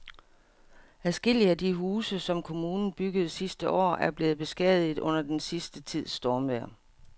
Adskillige af de huse, som kommunen byggede sidste år, er blevet beskadiget under den sidste tids stormvejr.